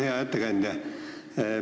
Hea ettekandja!